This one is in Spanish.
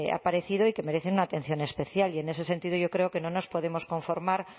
aparecido y que merecen una atención especial y en ese sentido yo creo que no nos podemos conformar